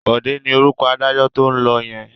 Bọ̀dé ni orúkọ adájọ́ tó ń lọ yẹn.